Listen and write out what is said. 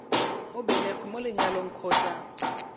o belegweng mo lenyalong kgotsa